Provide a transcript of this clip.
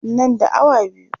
Nan da awa biyu.